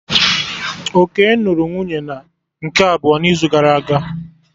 Okey nụrụ nwunye nke abụọ n'izu gara aga